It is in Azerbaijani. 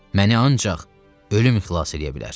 Məni ancaq ölüm xilas eləyə bilər.